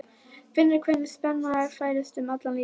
Finnur hvernig spenna færist um allan líkamann.